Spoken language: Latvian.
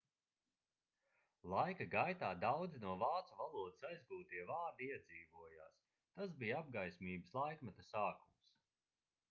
laika gaitā daudzi no vācu valodas aizgūtie vārdi iedzīvojās tas bija apgaismības laikmeta sākums